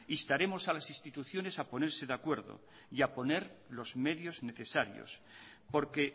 instaremos a las instituciones a ponerse de acuerdo y a poner los medios necesarios porque